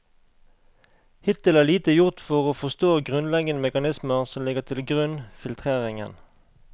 Hittil er lite gjort for å forstå grunnleggende mekanismer som ligger til grunn filtreringen.